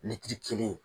kelen